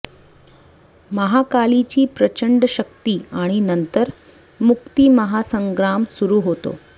महाकालीची प्रचंड शक्ती आणि नंतर मुक्ती महासंग्राम सुरू होतो